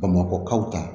Bamakɔkaw ta